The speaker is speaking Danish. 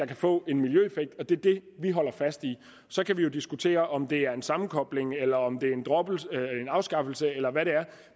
kan få en miljøeffekt og det er det vi holder fast i så kan vi jo diskutere om det er en sammenkobling eller om det er en afskaffelse eller hvad det er